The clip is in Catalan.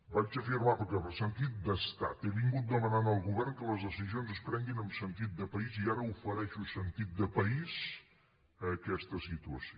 vaig afirmar que per sentit d’estat he vingut demanant al govern que les decisions es prenguin amb sentit de país i ara ofereixo sentit de país a aquesta situació